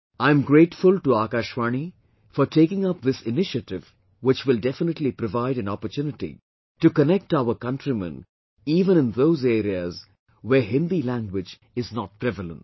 I am grateful to Akashvani for taking up this initiative which will definitely provide an opportunity to connect our countrymen even in those areas, where Hindi language is not prevalent